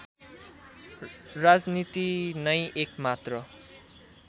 राजनीति नै एकमात्र